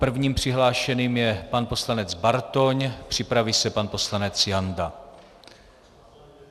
Prvním přihlášeným je pan poslanec Bartoň, připraví se pan poslanec Janda.